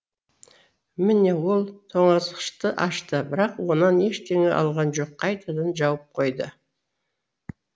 міне ол тоңазытқышты ашты бірақ оннан ештеңе алған жоқ қайтадан жауып қойды